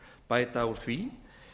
bæta úr því